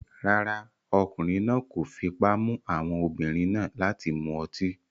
Rárá, ọkùnrin náà kò fipá mú àwọn obìnrin náà láti mu ọtí